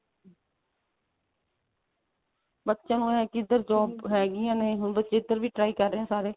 ਬੱਚਿਆਂ ਨੂੰ ਇਹ ਹੈ ਕਿ ਇੱਧਰ job ਹੈਗੀਆਂ ਨੇ ਹੁਣ ਬੱਚੇ ਇੱਧਰ ਵੀ try ਕਰ ਰਹੇ ਏ ਸਾਰੇ